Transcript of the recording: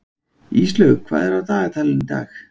Íslaug, hvað er á dagatalinu í dag?